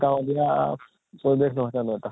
গাৱলীয়াপৰিৱেশ ন্হয় জানো এটা